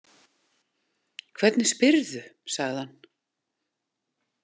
Hvernig spyrðu, sagði hann.